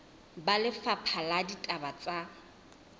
ba lefapha la ditaba tsa